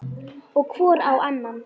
Og hvor á annan.